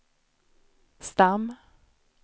stam